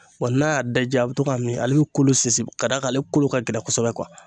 Wa n'a y'a da ja a bi to k'a min ale kolo sinsin ka d'a k'ale kolo ka gɛlɛn kosɛbɛ